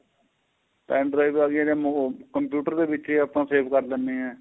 pen-drive ਆਂ ਗਈ ਇਹਦੇ computer ਦੇ ਵਿੱਚ ਏ ਆਪਾਂ save ਕਰ ਦਿੰਨੇ ਏ